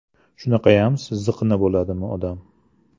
Shunaqayam ziqna bo‘ladimi odam?